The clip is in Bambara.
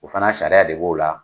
O fana sariya de b'o la